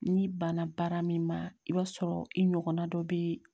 N'i banna baara min ma i b'a sɔrɔ i ɲɔgɔnna dɔ bɛ